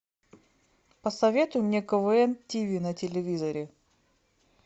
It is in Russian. посоветуй мне квн тв на телевизоре